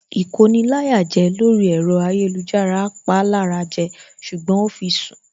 Ìkoni-láyàjẹ lórí ẹ̀rọ ayélujára pa lára jẹ ṣùgbọ́n ó fi sùn